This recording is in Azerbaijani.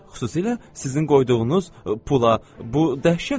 Xüsusilə sizin qoyduğunuz pula, bu dəhşətdir.